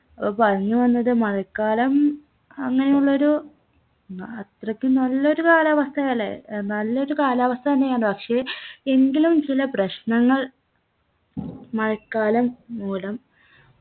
അപ്പോ പറഞ്ഞു വന്നത് മഴക്കാലം അങ്ങനെയുള്ളൊരു ഉം അത്രക്ക് നല്ലൊരു കാലാവസ്ഥായാലേ ഏർ നല്ലൊരു കാലാവസ്ഥ തന്നെയാ പക്ഷെ എങ്കിലും ചില പ്രശ്നങ്ങൾ മഴക്കാലം മൂലം